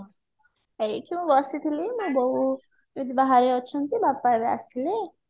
ଏଇଠି ମୁଁ ବସିଥିଲି ବୋଉ ଏବେ ବାହାରେ ଅଛନ୍ତି ବାପା ଏବେ ଆସିଲେ